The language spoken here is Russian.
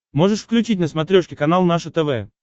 можешь включить на смотрешке канал наше тв